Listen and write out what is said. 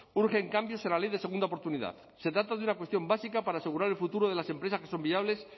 urgen cambios en la ley de segunda oportunidad se trata de una cuestión básica para asegurar el futuro de las empresas que son viables